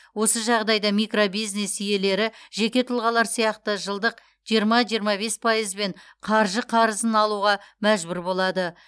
осы жағдайда микробизнес иелері жеке тұлғалар сияқты жылдық жиырма жиырма бес пайызбен қаржы қарызын алуға мәжбүр болады